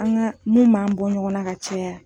An ka mun b'an bɔ ɲɔgɔn na ka caya.